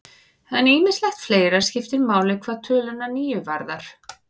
En ýmislegt fleira skiptir máli hvað töluna níu varðar.